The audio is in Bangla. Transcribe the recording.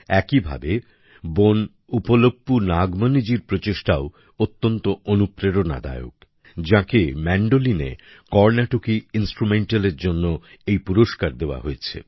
একইভাবে বোন উপ্পলপু নাগমণি জির প্রচেষ্টাও অত্যন্ত অনুপ্রেরণাদায়ক যাঁকে ম্যান্ডোলিনে কর্নাটকী ইন্সট্রুমেন্টালের জন্য এই পুরস্কার দেওয়া হয়েছে